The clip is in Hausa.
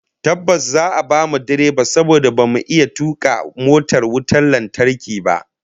Tabbas, za'a bamu direba saboda bamu iya tuka motar wutar lantarki ba